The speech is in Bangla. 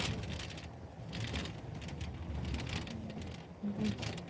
হম বুঝলাম